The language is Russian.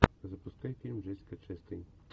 запускай фильм джессика честейн